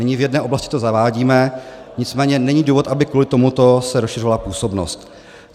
Nyní v jedné oblasti to zavádíme, nicméně není důvod, aby kvůli tomuto se rozšiřovala působnost.